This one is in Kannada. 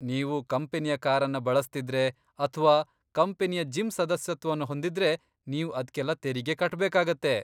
ನೀವು ಕಂಪನಿಯ ಕಾರನ್ನ ಬಳಸ್ತಿದ್ರೆ ಅಥ್ವಾ ಕಂಪನಿಯ ಜಿಮ್ ಸದಸ್ಯತ್ವವನ್ನ ಹೊಂದಿದ್ರೆ, ನೀವ್ ಅದ್ಕೆಲ್ಲ ತೆರಿಗೆ ಕಟ್ಬೇಕಾಗತ್ತೆ.